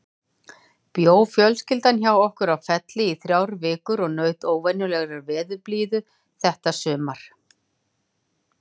Bjó fjölskyldan hjá okkur á Felli í þrjár vikur og naut óvenjulegrar veðurblíðu þetta sumar.